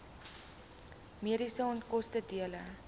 mediese onkoste dele